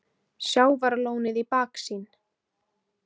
Sjávarlónið í baksýn.